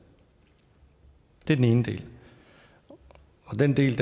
det er den ene del og den del